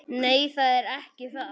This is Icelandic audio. Nei, það er ekki það.